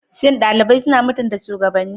Shin ɗalibai suna mutunta shugabanni?